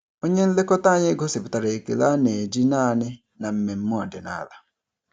Onye nlekọta anyị gosipụtara ekele a na-eji naanị na mmemme ọdịnala.